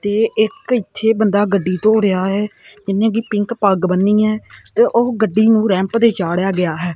ਤੇ ਇੱਕ ਇਥੇ ਬੰਦਾ ਗੱਡੀ ਧੋ ਰਿਹਾ ਹੈ ਜਿੰਨੇ ਕਿ ਪਿੰਕ ਪੱਗ ਬੰਨੀ ਹੈ ਤੇ ਉਹ ਗੱਡੀ ਨੂੰ ਰੈਂਪ ਤੇ ਚਾੜਿਆ ਗਿਆ ਹੈ।